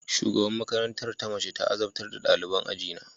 Shugaban makarantar ta mace ta azabtar da daliban ajina